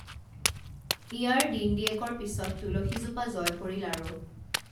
ইয়াৰ দিনদিয়েকৰ পিছত তুলসীজোপা জঁয় পৰিল আৰু